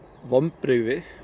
vonbrigði